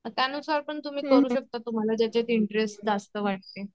त्यानुसार पण तुम्ही करू शकता तुम्हाला ज्याच्यात इंटरेस्ट जास्त वाटते.